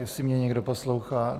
Jestli mě někdo poslouchá?